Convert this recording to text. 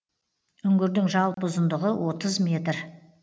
үңгірдің жалпы ұзындығы отыз метр